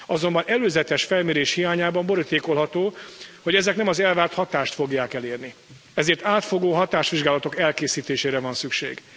Azonban előzetes felmérés hiányában borítékolható, hogy ezek nem az elvárt hatást fogják elérni, ezért átfogó hatásvizsgálatok elkészítésére van szükség.